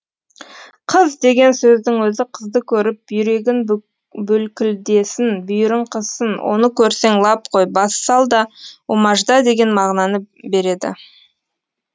қыз деген сөздің өзі қызды көріп бүйрегін бүлкілдесін бүйірің қызсын оны көрсең лап қой бассал да умажда деген мағынаны береді